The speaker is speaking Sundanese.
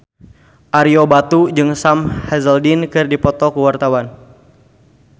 Ario Batu jeung Sam Hazeldine keur dipoto ku wartawan